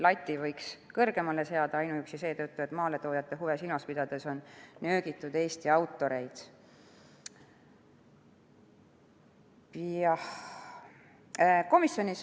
Lati võiks kõrgemale seada ainuüksi seetõttu, et maaletoojate huve silmas pidades on nöögitud Eesti autoreid.